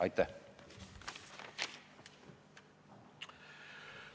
Aitäh!